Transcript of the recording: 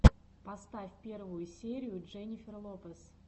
поставь первую серию дженнифер лопез